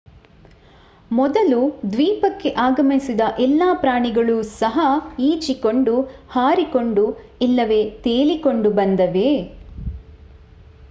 ಮೊದಲು ದ್ವೀಪಕ್ಕೆ ಆಗಮಿಸಿದ ಎಲ್ಲಾ ಪ್ರಾಣಿಗಳು ಸಹ ಈಜಿಕೊಂಡು ಹಾರಿಕೊಂಡು ಇಲ್ಲವೇ ತೇಲಿಕೊಂಡು ಬಂದವೇ